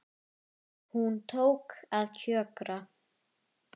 Hún tók að kjökra.